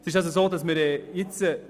Meines Erachtens ist das nicht nötig.